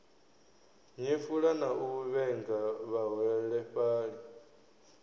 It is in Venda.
nyefula na u vhenga vhaholefhali